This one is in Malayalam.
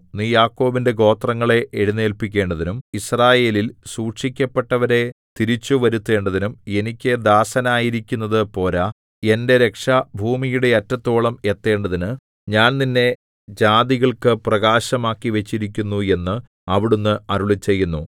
നീ യാക്കോബിന്റെ ഗോത്രങ്ങളെ എഴുന്നേല്പിക്കേണ്ടതിനും യിസ്രായേലിൽ സൂക്ഷിക്കപ്പെട്ടവരെ തിരിച്ചുവരുത്തേണ്ടതിനും എനിക്ക് ദാസനായിരിക്കുന്നതു പോരാ എന്റെ രക്ഷ ഭൂമിയുടെ അറ്റത്തോളം എത്തേണ്ടതിന് ഞാൻ നിന്നെ ജാതികൾക്ക് പ്രകാശമാക്കിവച്ചുമിരിക്കുന്നു എന്നു അവിടുന്ന് അരുളിച്ചെയ്യുന്നു